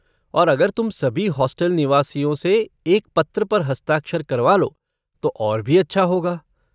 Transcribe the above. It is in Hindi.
और अगर तुम सभी हॉस्टल निवासियों से एक पत्र पर हस्ताक्षर करवा लो तो और भी अच्छा होगा।